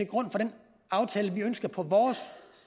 grund for den aftale man ønsker på